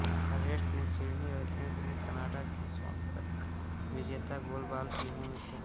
forest ने Sydney और Athens में कनाडा की स्वर्ण पदक विजेता गोलबॉल टीमों में खेला